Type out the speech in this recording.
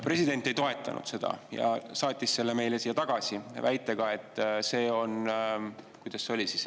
President ei toetanud seda ja saatis selle meile siia tagasi väitega, et see – kuidas see oligi?